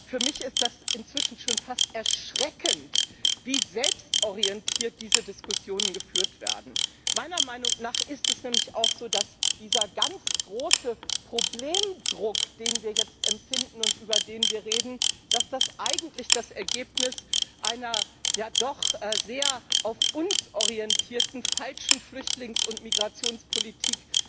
Für mich ist inzwischen schon fast erschreckend, wie selbstorientiert diese Diskussionen geführt werden. Meiner Meinung nach ist es nämlich auch so, dass dieser ganz große Problemdruck, den wir jetzt empfinden und über den wir reden, eigentlich das Ergebnis einer ja doch sehr auf uns orientierten falschen Flüchtlings und Migrationspolitik